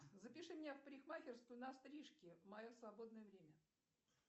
запиши меня в парикмахерскую на стрижки в мое свободное время